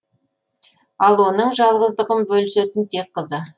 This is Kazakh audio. ал оның жалғыздығын бөлісетін тек қызы